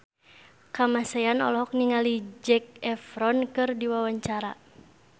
Kamasean olohok ningali Zac Efron keur diwawancara